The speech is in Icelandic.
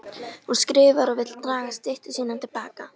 Hún skrifar og vill draga styttu sína til baka.